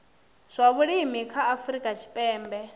zwa vhulimi ha afrika tshipembe